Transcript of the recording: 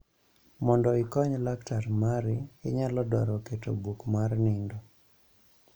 Mondo ikony laktar mari, inyalo dwaro keto buk mar nindo.